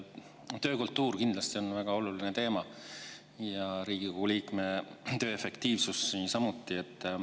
Töökultuur kindlasti on väga oluline teema ja Riigikogu liikme töö efektiivsus samuti.